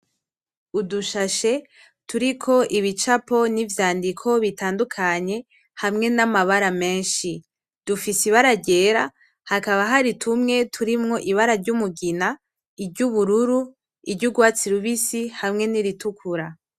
Udushashe turiko ibicapo nivyandiko bitandukanye hamwe namabara menshi, dufise ibara ryera hakaba hari tumwe dufise ibara rumugina, iry'ubururu iryugwatsi, rubisi hamwe niritukura.